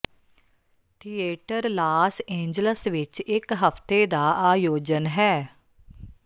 theatre Los Angeles ਵਿੱਚ ਇੱਕ ਹਫਤੇ ਦਾ ਆਯੋਜਨ ਹੈ